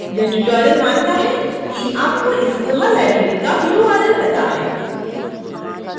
यह tutorial मानता है कि आपको इस koha library का url पता है